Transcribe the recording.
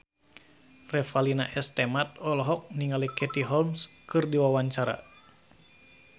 Revalina S. Temat olohok ningali Katie Holmes keur diwawancara